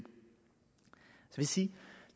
sige